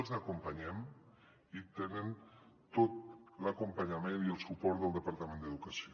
els acompanyem i tenen tot l’acompanyament i el suport del departament d’educació